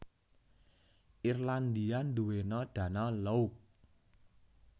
Irlandia ndhuweno danau lough